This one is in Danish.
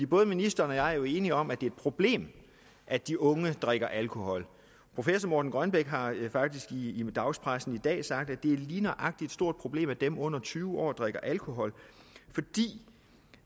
både ministeren og jeg er jo enige om at det er et problem at de unge drikker alkohol professor morten grønbæk har faktisk i dagspressen i dag sagt at det lige nøjagtig er et stort problem at dem under tyve år drikker alkohol fordi